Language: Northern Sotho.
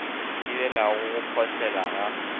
di thibelago go phohlela ga